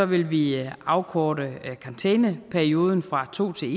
vil vi afkorte karantæneperioden fra to til